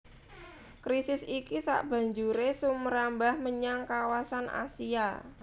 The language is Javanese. Krisis iki sabanjuré sumrambah menyang kawasan Asia